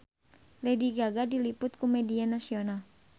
Lady Gaga diliput ku media nasional